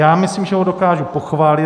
Já myslím, že ho dokážu pochválit.